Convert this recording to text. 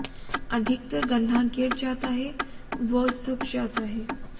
अधिकतर गन्ना गिर जाता है व सूख जाता है